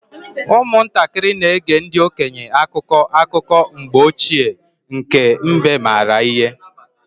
Ụmụntakịrị na-ege ndị okenye akụkọ akụkọ mgbe ochie nke mbe maara ihe.